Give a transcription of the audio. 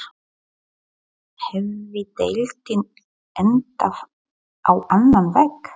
Hefði deildin endað á annan veg?